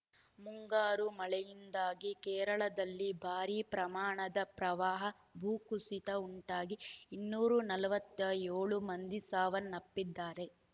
ಮುಂಗಾರು ಮಳೆಯಿಂದಾಗಿ ಕೇರಳದಲ್ಲಿ ಭಾರಿ ಪ್ರಮಾಣದ ಪ್ರವಾಹ ಭೂಕುಸಿತ ಉಂಟಾಗಿ ಇನ್ನೂರ ನಲವತ್ತ್ ಏಳು ಮಂದಿ ಸಾವನ್ನಪ್ಪಿದ್ದಾರೆ